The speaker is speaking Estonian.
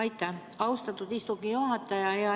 Aitäh, austatud istungi juhataja!